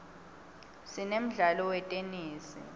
sinemdlalo wetenesi